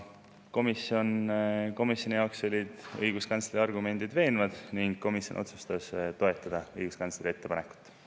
" Komisjoni jaoks olid õiguskantsleri argumendid veenvad ning komisjon otsustas õiguskantsleri ettepanekut toetada.